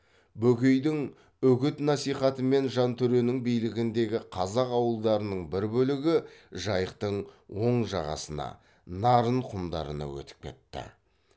бөкейдің үгіт насихатымен жантөренің билігіндегі қазақ ауылдарының бір бөлігі жайықтың оң жағасына нарын құмдарына өтіп кетті